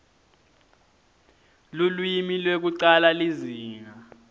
lulwimi lwekucala lizinga